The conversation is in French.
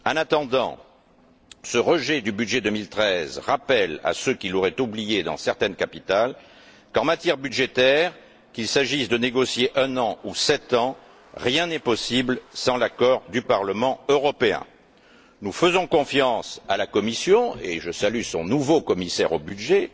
En attendant, ce rejet du budget 2013 rappelle à ceux qui l'auraient oublié, dans certaines capitales, qu'en matière budgétaire, qu'il s'agisse de négocier pour un an ou pour sept ans, rien n'est possible sans l'accord du Parlement européen. Nous faisons confiance à la Commission et je salue son nouveau commissaire au budget